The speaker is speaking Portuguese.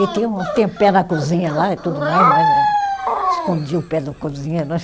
E tinha um, tem pé na cozinha lá e tudo mais, mas eh escondia o pé do cozinheiro